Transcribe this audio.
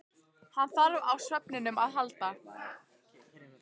Hann þarf á svefninum að halda.